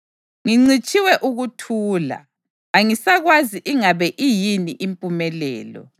Ngincitshiwe ukuthula; angisakwazi ingabe iyini impumelelo.